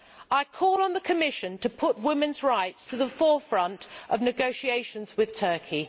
I call on the Commission to put women's rights at the forefront of negotiations with Turkey.